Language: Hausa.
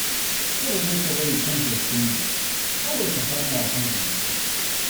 Kar dai ka bari kanka ya kulle, kawai ka sama wa kanka mafita.